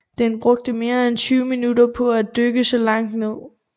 Den brugte mere end 20 minutter på at dykke så langt ned